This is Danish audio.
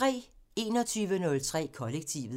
21:03: Kollektivet